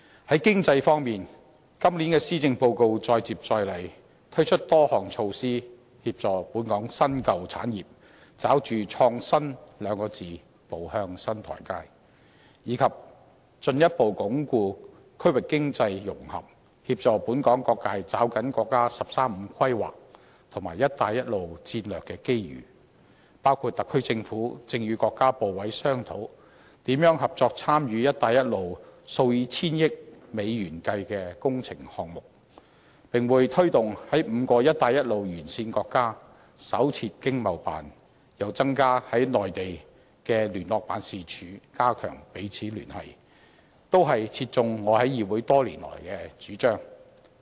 在經濟方面，今年的施政報告再接再厲，推出多項措施協助本港新、舊產業抓住"創新"兩字步向新台階，以及進一步鞏固區域經濟融合，協助本港各界抓緊國家"十三五"規劃及"一帶一路"的戰略機遇，包括特區政府正與國家部委商討，如何合作參與"一帶一路"數以千億美元計的工程項目，並會推動在5個"一帶一路"沿線國家新設經濟貿易辦事處，又增加在內地的聯絡辦事處，加強彼此聯繫，這些都切中我在議會多年來的主張。